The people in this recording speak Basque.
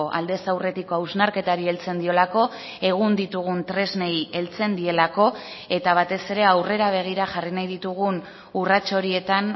aldez aurretiko hausnarketari heltzen diolako egun ditugun tresnei heltzen dielako eta batez ere aurrera begira jarri nahi ditugun urrats horietan